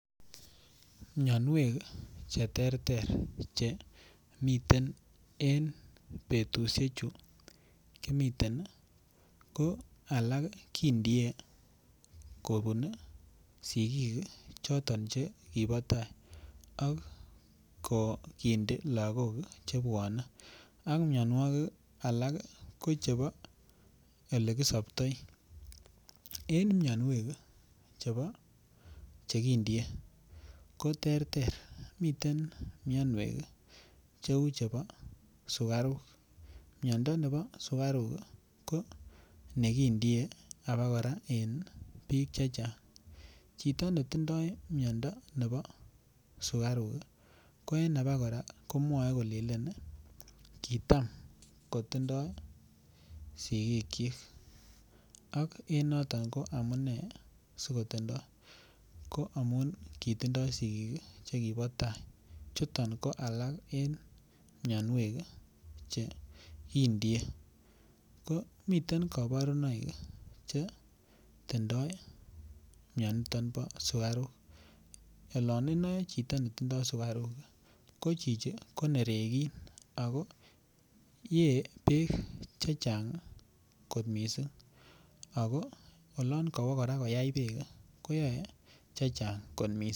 Mianwek Che terter che miten en betusiechu kimiten ko alak kindie kobun sigik choton Che kibo tai ak kindi lagokwak mianwogik alak ko chebo Ole kisoptoi en mianwek chebo Che kindie ko terter miten mianwek cheu chebo sukaruk miando nebo sukaruk ko nekindie abakora en bik Che Chang chito ne tindoi miando nebo sukaruk ko en abakora komwoe kolelen kitam sigikyik ak en noton ko amune si kotindoi ko amun kitindoi sigik che kibo tai chuton ko alak en mianwek Che kindie ko miten kabarunoik Che tindoi mianito bo sukaruk olon inoe chito netindoi sukaruk ko chichi ko nerekin ago ye bek chechang kot mising ago oloon kowo abakora koyai bek koyoe bek chechang kot mising